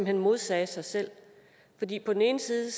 hen modsagde sig selv på den ene side